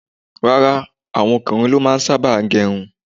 Rárá, àwọn ọkùnrin ló sábà máa ń gẹrun.